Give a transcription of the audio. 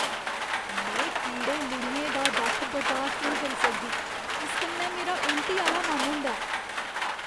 में कीड़े लुढ़ियें दा दक्ख बर्दाश्त नेईं करी सकदी, इस कन्नै मेरा उल्टी आह्‌ला मन होंदा ऐ।